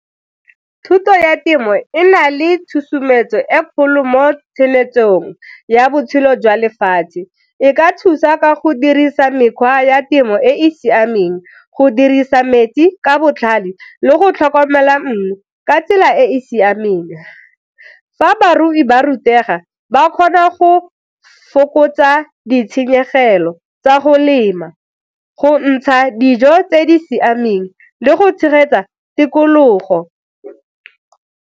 Thuto ya temo e na le tshosometso e kgolo mo ya botshelo jwa lefatshe, e ka thusa ka go dirisa mekgwa ya temo e e siameng go dirisa metsi ka botlhale le go tlhokomela mmu ka tsela e e siameng. Fa barui ba rutega ga ba kgona go fokotsa ditshenyegelo tsa go lema, go ntsha dijo tse di siameng, le go tshegetsa tikologo.